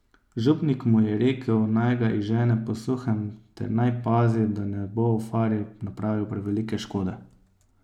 Župnik mu je rekel, naj ga izžene po suhem ter naj pazi, da ne bo v fari napravil prevelike škode.